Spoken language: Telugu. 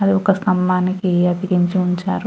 అది ఒక స్తంభానికి అతికించి ఉంచారు.